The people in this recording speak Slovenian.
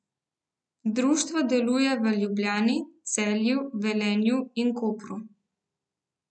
Društvo deluje v Ljubljani, Celju, Velenju in Kopru.